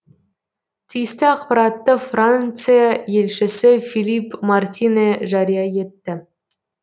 тиісті ақпаратты франция елшісі филипп мартинэ жария етті